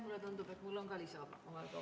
Mulle tundub, et mul on ka lisaaega vaja.